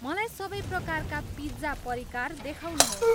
मलाई सबै प्रकारका पिज्जा परिकार देखाउनुहोस्।